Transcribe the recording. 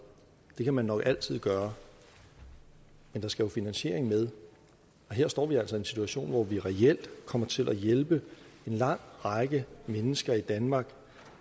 det vil man nok altid gøre men der skal jo finansiering med og her står vi altså i en situation hvor vi reelt kommer til at hjælpe en lang række mennesker i danmark